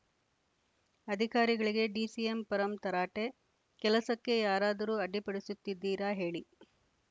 ಅಧಿಕಾರಿಗಳಿಗೆ ಡಿಸಿಎಂ ಪರಂ ತರಾಟೆ ಕೆಲಸಕ್ಕೆ ಯಾರಾದರೂ ಅಡ್ಡಿಪಡಿಸುತ್ತಿದ್ದೀರಾ ಹೇಳಿ